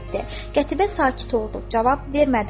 Qətibə sakit oldu, cavab vermədi, utandı.